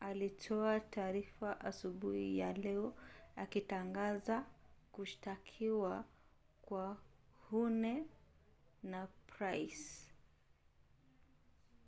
alitoa taarifa asubuhi ya leo akitangaza kushtakiwa kwa huhne na pryce